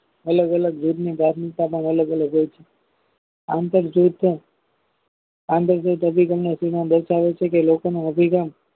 અલગ અલગ અલગ અલગ હોય છે આંતર જૂથ આંતર જૂથ અભિગમનો સિદ્ધાંત દર્શાવે છે કે લોકોનો અભિગમ